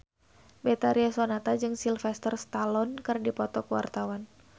Betharia Sonata jeung Sylvester Stallone keur dipoto ku wartawan